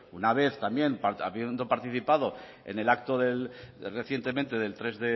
una vez habiendo participado en el acto recientemente del tres